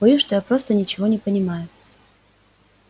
боюсь что я просто ничего не понимаю